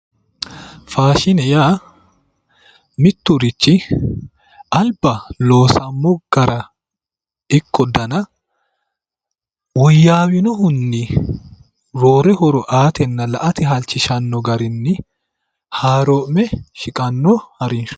faashine yaa mitturichi alba loosammo gara ikko dana woyyawinohuni roore horo aatenna la"ate halchishanno garinni haaroo'me shiqanno harinshooti.